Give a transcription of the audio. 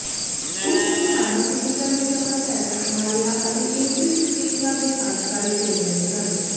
ਉਸ ਨੇ ਫਾਰਮਾਸਿਊਟੀਕਲ ਵਿਚ ਆਪਣਾ ਪੈਸਾ ਕਮਾ ਲਿਆ ਅਤੇ ਇਨਸਿਸ ਚਿਕਿਤਸਾ ਦੇ ਕਾਰਜਕਾਰੀ ਚੇਅਰਮੈਨ ਸਨ